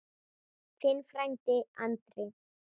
Þinn frændi Andri.